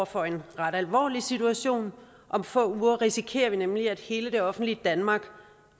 for en ret alvorlig situation om få uger risikerer vi nemlig at hele det offentlige danmark